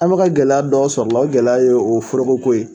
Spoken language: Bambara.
An mɛ ka gɛlɛya dɔ sɔrɔ o la o gɛlɛya ye o forokoko ye.